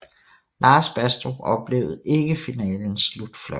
Lars Bastrup oplevede ikke finalens slutfløjtet